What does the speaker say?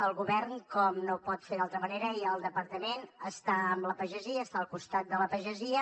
el govern com no ho pot fer d’altra manera i el departament està amb la pagesia està al costat de la pagesia